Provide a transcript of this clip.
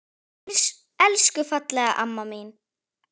Elsku fallega amma mín.